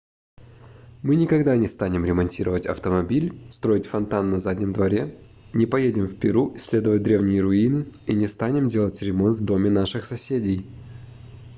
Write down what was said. мы никогда не станем ремонтировать автомобиль строить фонтан на заднем дворе не поедем в перу исследовать древние руины и не станем делать ремонт в доме наших соседей